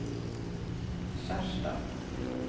Skjerstad